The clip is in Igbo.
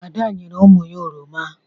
Ada nyere ụmụ ya oroma.